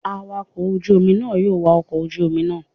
Awakọ̀ ojú omi náà yóò wa ọkọ̀ ojú omi náà.